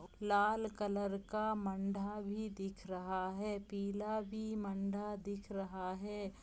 लाल colour का मंढा भी दिख रहा है पीला भी मंढा दिख रहा है।